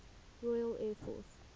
royal air force